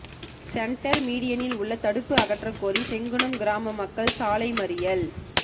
ெசன்டர்மீடியனில் உள்ள தடுப்பு அகற்ற கோரி செங்குணம் கிராம மக்கள் சாலை மறியல்